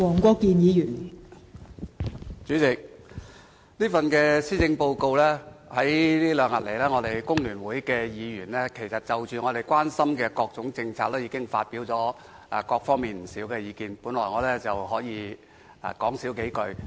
代理主席，在這兩天，我們工聯會議員已就這份施政報告提出的各種政策，發表了不少意見，我本來不打算多言。